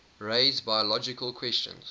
raise biological questions